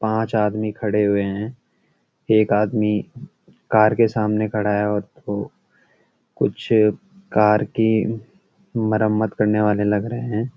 पांच आदमी खड़े हुए हैं एक आदमी कार के सामने खड़ा है और वो कुछ कार की मरम्‍मत करने वाले लग रहे हैं।